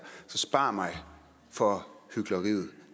så spar mig for hykleriet